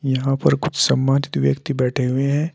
यहां पर कुछ सम्मानित व्यक्ति बैठे हुए हैं।